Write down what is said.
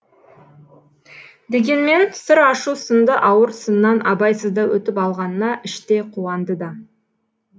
дегенмен сыр ашу сынды ауыр сыннан абайсызда өтіп алғанына іштей қуанды да